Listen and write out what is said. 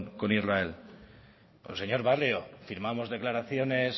con israel señor barrio firmamos declaraciones